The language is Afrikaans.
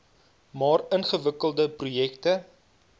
maar ingewikkelde projekte